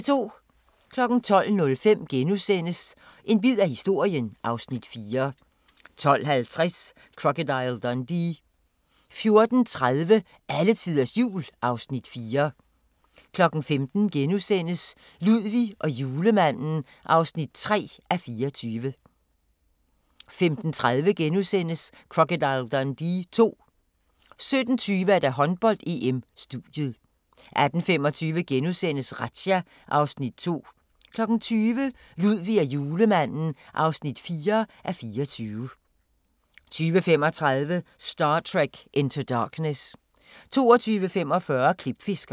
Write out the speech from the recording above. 12:05: En bid af historien (Afs. 4)* 12:50: Crocodile Dundee * 14:30: Alletiders Jul (Afs. 4) 15:00: Ludvig og Julemanden (3:24)* 15:30: Crocodile Dundee II * 17:20: Håndbold: EM - studiet 18:25: Razzia (Afs. 2)* 20:00: Ludvig og Julemanden (4:24) 20:35: Star Trek Into Darkness 22:45: Klipfiskerne